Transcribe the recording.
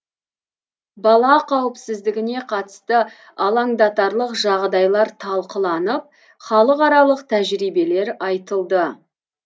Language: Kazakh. бала қауіпсіздігіне қатысты алаңдатарлық жағдайлар талқыланып халықаралық тәжірибелер айтылды